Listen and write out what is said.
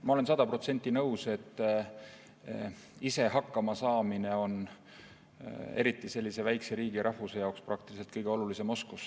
Ma olen sada protsenti nõus, et ise hakkamasaamine on eriti just väikese riigi ja rahvuse jaoks praktiliselt kõige olulisem oskus.